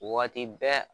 Waati bɛɛ